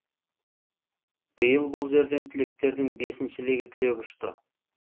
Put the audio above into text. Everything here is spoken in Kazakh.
биыл бұл жерден түлектердің бесіншісі легі түлеп ұшты